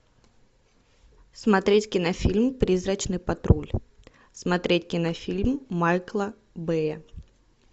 смотреть кинофильм призрачный патруль смотреть кинофильм майкла бэя